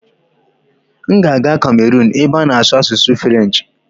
M ga-aga Cameron ebe a na-asụ asụsụ Firench